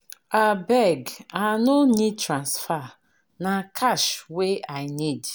Abeg, I no need transfer, na cash wey I need.